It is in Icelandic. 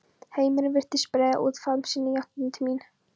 Heimurinn virtist breiða út faðm sinn í áttina til mín.